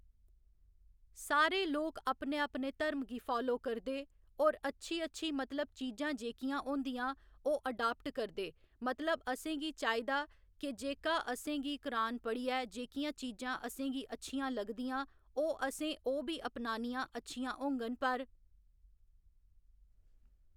सारे लोक अपने अपने धर्म गी फालो करदे होर अच्छी अच्छी मतलब चीजां जेह्कियां होंदियां ओह् अडाप्ट करदे मतलब असेंगी चाहिदा केह् जेह्का असेंगी कुरान पढ़ियै जेह्कियां चीजां असेंगी अच्छियां लगदियां ओह् असें ओह्‌ बी अपनानियां अच्छियां होङन पर